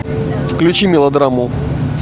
включи мелодраму